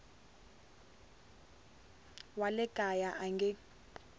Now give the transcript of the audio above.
wa le kaya a nge